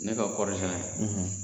Ne ka kɔri sɛnɛ